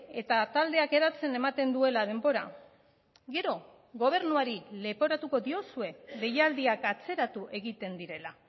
eta taldeak eratzen ematen duela denbora gero gobernuari leporatuko diozue deialdiak atzeratu egiten direla